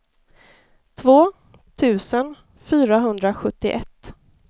två tusen fyrahundrasjuttioett